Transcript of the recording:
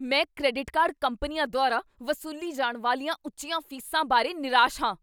ਮੈਂ credit card ਕੰਪਨੀਆਂ ਦੁਆਰਾ ਵਸੂਲੀ ਜਾਣ ਵਾਲੀਆਂ ਉੱਚੀਆਂ ਫ਼ੀਸਾਂ ਬਾਰੇ ਨਿਰਾਸ਼ ਹਾਂ।